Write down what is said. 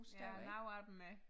Ja nogle af dem er